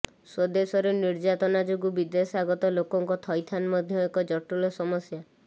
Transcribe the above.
ସ୍ୱଦେଶରେ ନିର୍ଯାତନା ଯୋଗୁଁ ବିଦେଶାଗତ ଲୋକଙ୍କ ଥଇଥାନ ମଧ୍ୟ ଏକ ଜଟିଳ ସମସ୍ୟା